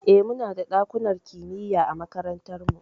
Eh, muna da ɗakunan kimiya a makarantar mu.